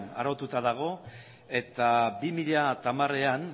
araututa dago eta bi mila hamarean